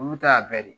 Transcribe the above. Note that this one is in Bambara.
Olu ta bɛɛ de ye